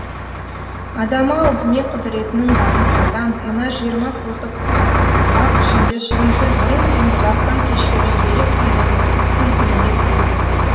адам ау не құдіретінің барын қайдам мына жиырма сотық бақ ішінде шырынкүл бұрын соңды бастан кешпеген бөлек күйдің бүлкіліне түседі